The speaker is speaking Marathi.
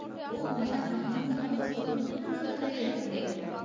हो माझा आनंद माझं स्वप्न पूर्ण झालं आहे याच्या मुळे.